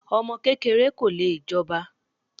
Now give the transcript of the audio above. Ọmọ kékeré ko lè jọba.